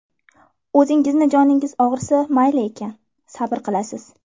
O‘zingizni joningiz og‘risa, mayli ekan, sabr qilasiz.